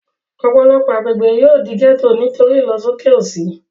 Ọ̀pọ̀lọpọ̀ agbègbè yóò di gẹ́ẹ́tò nítorí ìlọsóké òṣì